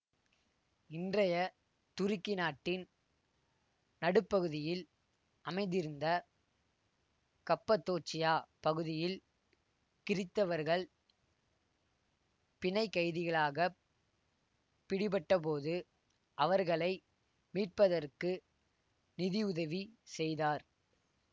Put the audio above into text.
இன்றைய துருக்கி நாட்டின் நடுப்பகுதியில் அமைந்திருந்த கப்பதோச்சியா பகுதியில் கிறித்தவர்கள் பிணைக்கைதிகளாகப் பிடிபட்டபோது அவர்களை மீட்பதற்கு நிதி உதவி செய்தார்